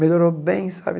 Melhorou bem, sabe?